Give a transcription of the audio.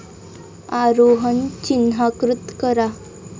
आरोहन चिन्हाकृत करा